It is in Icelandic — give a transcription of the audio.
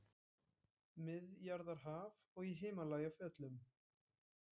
Miðjarðarhaf og í Himalajafjöllum.